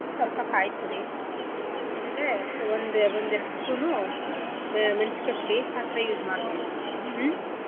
ಸ್ವಲ್ಪ ಕಾಯ್ತುರಿ ಆಮೇಲೆ ಒಂದು ಒಂದೆರಡು spoon ಉ ಮೆ~ ಮೇಣ್ಸಿಕಾಯಿ ಪುಡಿ ಆಥರಾ use ಮಾಡ್ತಿವಿ. ಹ್ಮ್